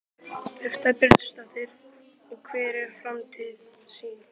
Birta Björnsdóttir: Og hver er framtíðarsýnin?